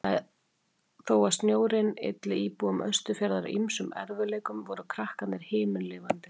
Þó að snjórinn ylli íbúum Austurfjarðar ýmsum erfiðleikum voru krakkarnir himinlifandi.